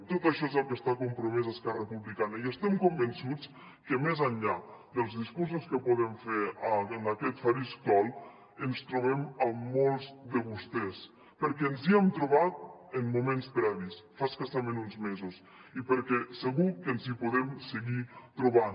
tot això és al que està compromesa esquerra republicana i estem convençuts que més enllà dels discursos que podem fer en aquest faristol ens trobem amb molts de vostès perquè ens hi hem trobat en moments previs fa escassament uns mesos i perquè segur que ens hi podem seguir trobant